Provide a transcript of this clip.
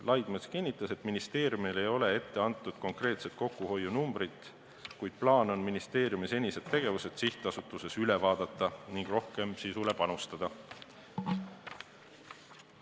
Laidmets kinnitas, et ministeeriumile ei ole ette antud konkreetset kokkuhoiunumbrit, kuid plaan on ministeeriumi senised tegevused sihtasutustes üle vaadata ning rohkem sisule panustada.